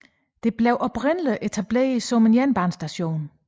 Den blev oprindeligt etableret som jernbanestation